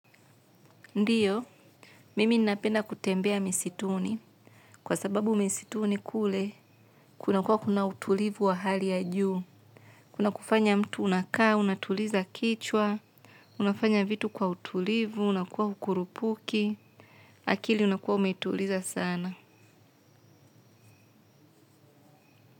Ndiyo, mimi napenda kutembea misituni. Kwa sababu misituni kule, kuna kuwa kuna utulivu wa hali ya juu. Kuna kufanya mtu unakaa, unatuliza kichwa, unafanya vitu kwa utulivu, unakuwa hukurupuki, akili unakuwa umetuliza sana.